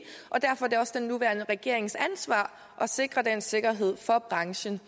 og derfor er det også den nuværende regerings ansvar at sikre den sikkerhed for branchen